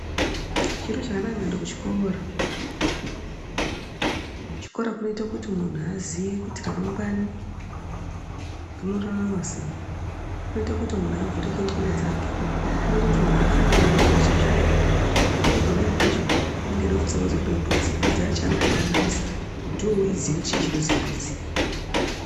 Chiro chakanaka kuende kuchikora, kuchikora kunoite kuti munhu aziye kuti ramagwana rinoraramwa sei, kunoite kuti muntu avhure ndxondo dzake, kunoite kuti munhu afunde nechiro chachona, sekuti pamweni pacho anenge eida kufunda pamusoro pembudzi, mbudzi yacho anotoibudisa kuti iwewe uiziye kutichi chinonzi mbudzi.